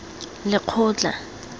lekgotla